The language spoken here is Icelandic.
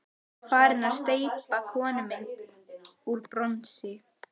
Er farin að steypa konumynd úr bronsi.